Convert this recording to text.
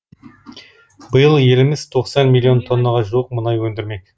биыл еліміз тоқсан миллион тоннаға жуық мұнай өндірмек